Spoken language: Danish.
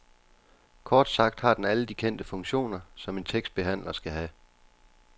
Kort sagt har den alle de kendte funktioner, som en tekstbehandler skal have.